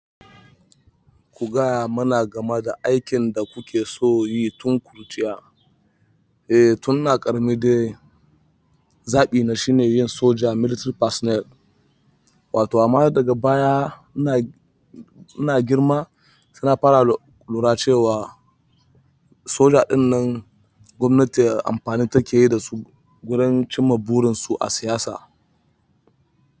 Ku gaya mana game da aikin da kuke son yi tun ƙuruciya. Eh, tun ina ƙarmi dai. Zabi na shine yin soja 'military personnel.' Wato amma daga baya ina, ina girma saina fara lura cewa soja ɗin nan gwamnati amfani take yi dasu wajen cimma burinsu a siyasa.